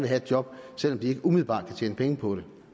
have et job selv om de ikke umiddelbart kan tjene penge på det